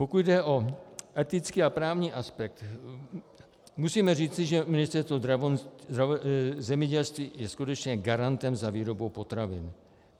Pokud jde o etický a právní aspekt, musíme říci, že Ministerstvo zemědělství je skutečně garantem za výrobu potravin.